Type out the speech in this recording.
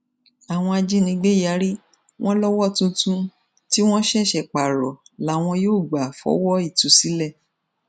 àwọn ajínigbé yarí wọn lọwọ tuntun tí wọn ṣẹṣẹ pààrọ làwọn yóò gbà fọwọ ìtúsílẹ